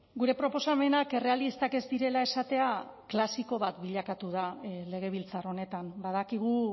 gure proposamenak errealistak ez direla esatea klasiko bat bilakatu da legebiltzar honetan badakigu